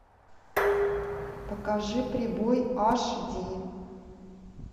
покажи прибой аш ди